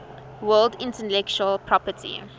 world intellectual property